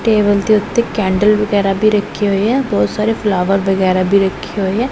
Table ਦੇ ਉੱਤੇ candle ਵਗੈਰਾ ਵੀ ਰੱਖੇ ਹੋਏ ਆ ਬਹੁਤ ਸਾਰੇ ਫਲਾਵਰ ਵਗੈਰਾ ਵੀ ਰੱਖੇ ਹੋਏ ਆ।